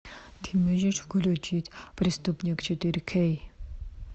ты можешь включить преступник четыре кей